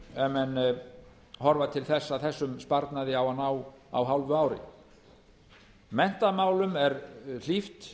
ef menn horfa til þess að þessum sparnaði á að ná á hálfu ári menntamálum er hlíft